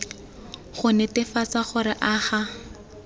go netefatsa gore a ga